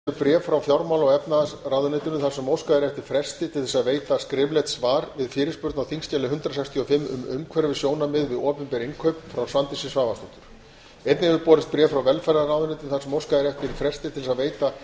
borist hefur bréf frá fjármála og efnahagsráðuneytinu þar sem óskað er eftir fresti til að veita skriflegt svar við fyrirspurn á þingskjali hundrað sextíu og fimm um umhverfissjónarmið við opinber innkaup frá svandísi svavarsdóttur einnig hefur borist bréf frá velferðarráðuneytinu þar sem óskað er eftir fresti til að veita